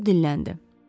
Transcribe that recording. Nəhayət o dilləndi.